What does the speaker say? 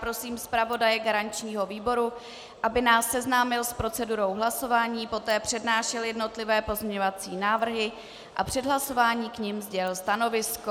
Prosím zpravodaje garančního výboru, aby nás seznámil s procedurou hlasování, poté přednášel jednotlivé pozměňovací návrhy a před hlasováním k nim sdělil stanovisko.